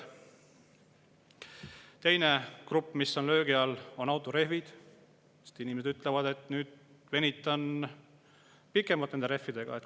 Teiseks, autorehvide on löögi all, sest inimesed, et nüüd venitan pikemalt nende rehvidega välja.